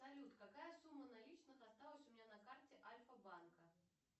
салют какая сумма наличных осталась у меня на карте альфа банка